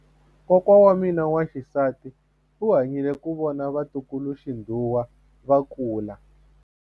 Kokwa wa mina wa xisati u hanyile ku vona vatukuluxinghuwe va kula.